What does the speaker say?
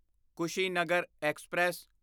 Kushinagar express